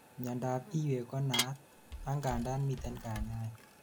miandap iywek konaat, angandan miten kanyaet